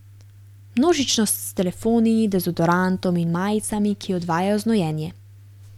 Množičnost s telefoni, dezodorantom in majicami, ki odvajajo znojenje.